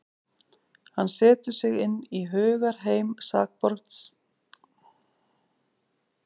Hann setur sig inn í hugarheim sakborningsins, því hann vill vita um hvað málið snýst.